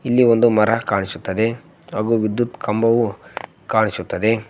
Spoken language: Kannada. ಇಲ್ಲಿ ಒಂದು ಮರ ಕಾಣಿಸುತ್ತದೆ ಹಾಗು ವಿದ್ಯುತ್ ಕಂಬವು ಕಾಣಿಸುತ್ತದೆ.